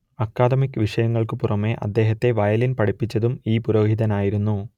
academic വിഷയങ്ങൾക്കു പുറമേ അദ്ദേഹത്തെ വയലിൻ പഠിപ്പിച്ചതും ഈ പുരോഹിതനായിരുന്നു